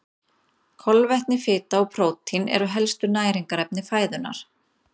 Kolvetni, fita og prótín eru helstu næringarefni fæðunnar.